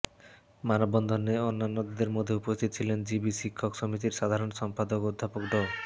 মানববন্ধনে অন্যান্যদের মধ্যে উপস্থিত ছিলেন জবি শিক্ষক সমিতির সাধারণ সম্পাদক অধ্যাপক ড